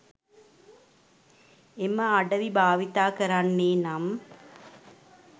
එම අඩවි භාවිතකරන්නේනම්